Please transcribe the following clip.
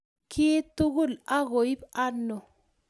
kiy tugul agoip oino